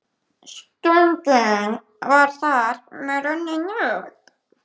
Stundin var þar með runnin upp.